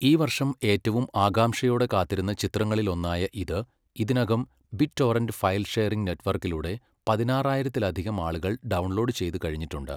ഈ വർഷം ഏറ്റവും ആകാംക്ഷയോടെ കാത്തിരുന്ന ചിത്രങ്ങളിലൊന്നായ ഇത് ഇതിനകം ബിറ്റ്ടോറന്റ് ഫയൽ ഷെയറിംഗ് നെറ്റ്‌വർക്കിലൂടെ പതിനാറായിരത്തിലധികം ആളുകൾ ഡൗൺലോഡ് ചെയ്തുകഴിഞ്ഞിട്ടുണ്ട്.